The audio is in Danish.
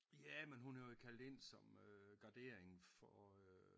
Ja men hun er jo kaldt ind som øh gardering for øh